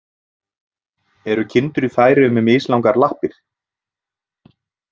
Eru kindur í Færeyjum með mislangar lappir.